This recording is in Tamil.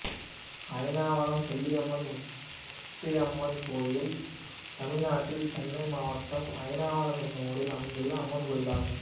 அயனாவரம் செல்லியம்மன் முத்தியம்மன் கோயில் தமிழ்நாட்டில் சென்னை மாவட்டம் அயனாவரம் என்னும் ஊரில் அமைந்துள்ள அம்மன் கோயிலாகும்